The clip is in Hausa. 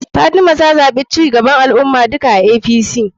Fatima ta zaɓi duka cigaban al ummah[apc].